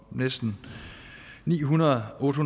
og næsten ni hundrede og otte